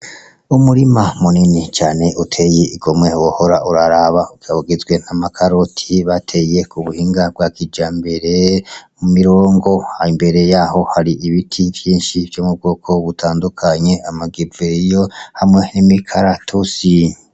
Umurima munini cane utey'igomwe wohora uraraba ukaba ugizwe n'amakaroti bateye k'ubuhinga bwakijambere kumirongo, imbere yaho har'ibiti vyinshi vyo mubwoko butandukanye, amagereveriyo hamwe n'imikaratusi.